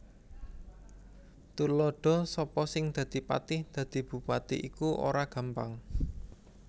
Tuladha Sapa sing dadi patih Dadi bupati iku ora gampang